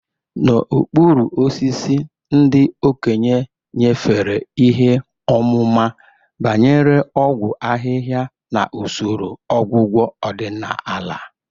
N'okpuru osisi, ndị okenye nyefere ihe ọmụma banyere ọgwụ ahịhịa na usoro ọgwụgwọ ọdịnala.